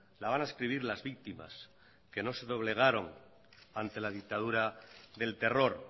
la van a escribir las víctimas que no se doblegaron ante la dictadura del terror